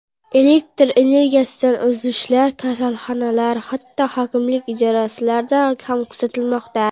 Elektr energiyasidagi uzilishlar kasalxonalar, hatto hokimlik idoralarida ham kuzatilmoqda.